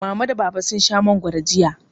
Mama da Baba sun sha mangwaro jiya.